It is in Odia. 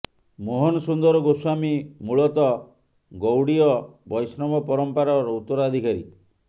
ମୋହନ ସୁନ୍ଦର ଗୋସ୍ବାମୀ ମୂଳତଃ ଗୌଡୀୟ ବୈଷ୍ଣବ ପରମ୍ପରାର ଉତ୍ତରାଧିକାରୀ